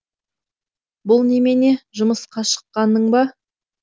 бұл немене жұмысқа шыққаның ба